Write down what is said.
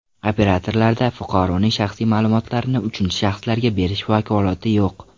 Operatorlarda fuqaroning shaxsiy ma’lumotlarini uchinchi shaxslarga berish vakolati yo‘q.